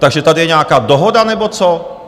Takže tady je nějaká dohoda nebo co?